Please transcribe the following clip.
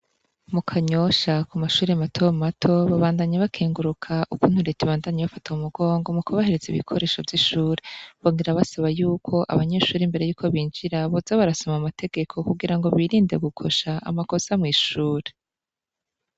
Mu Kanyosha ku mashure matomato babandanya bakenguruka ukuntu Leta ibafata mu mugongo mu bahereza ibikoresho vy'ishure bongera basaba yuko abanyeshure imbere yuko binjira boza barasoma amategeko kugirango birinde gukosha amakosa mw'ishure.